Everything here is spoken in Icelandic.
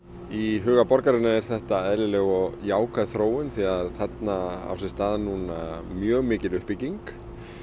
í huga borgarinnar er þetta eðlileg og jákvæð þróun því þarna á sér stað núna mjög mikil uppbygging